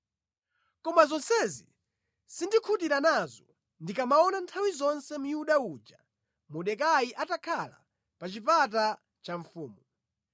Koma zonsezi sindikhutira nazo ndikamaona nthawi zonse Myuda uja Mordekai atakhala pa chipata cha mfumu.”